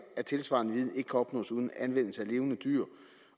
at tilsvarende viden ikke kan opnås uden anvendelse af levende dyr